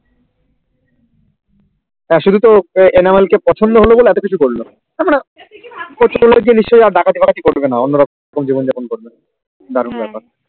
শুধু তো এলাবেন কে পছন্দ হলো বলে এত কিছু করলো ডাকাতি করবিনা অন্য ভাবে জীবন যাপন করবে দারুন বেপার